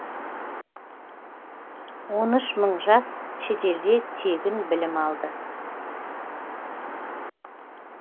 он үш мың жас шетелде тегін білім алды